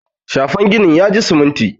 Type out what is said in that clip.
shafen ginin ya ji siminti